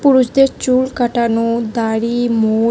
পুরুষদের চুল কাটানো দাড়ি মো--